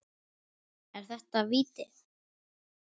Er þetta víti?